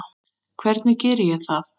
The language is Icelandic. Hvernig geri ég það?